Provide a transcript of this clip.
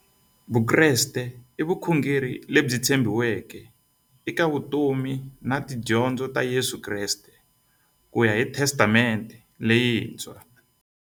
Vukreste i vukhongeri lebyi tshegiweke eka vutomi na tidyondzo ta Yesu Kreste kuya hi Testamente leyintshwa.